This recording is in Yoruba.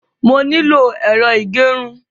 Mo nílò ẹ̀rọ ìgẹrun.